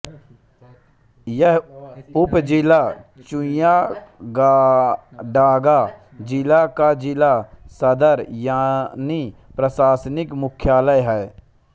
यह उपज़िला चुय़ाडांगा जिला का ज़िला सदर यानी प्रशासनिक मुख्यालय है